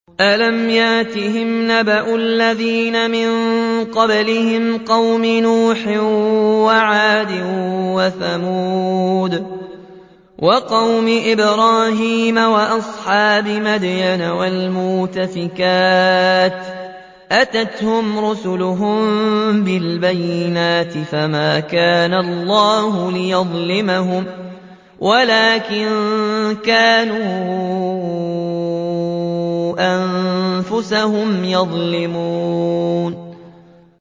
أَلَمْ يَأْتِهِمْ نَبَأُ الَّذِينَ مِن قَبْلِهِمْ قَوْمِ نُوحٍ وَعَادٍ وَثَمُودَ وَقَوْمِ إِبْرَاهِيمَ وَأَصْحَابِ مَدْيَنَ وَالْمُؤْتَفِكَاتِ ۚ أَتَتْهُمْ رُسُلُهُم بِالْبَيِّنَاتِ ۖ فَمَا كَانَ اللَّهُ لِيَظْلِمَهُمْ وَلَٰكِن كَانُوا أَنفُسَهُمْ يَظْلِمُونَ